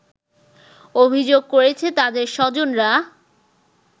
অভিযোগ করেছে তাদের স্বজনরা